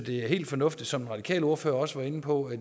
er helt fornuftigt som den radikale ordfører også var inde på at